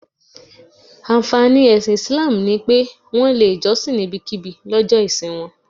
Ànfàní ẹ̀sìn Islam ni pé, Wọ́n lè jọ́sìn níbikíbi lọ́jọ́ ìsìn wọn